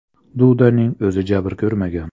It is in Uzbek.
Dudaning o‘zi jabr ko‘rmagan.